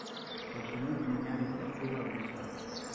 почему поменяли флаг белоруссии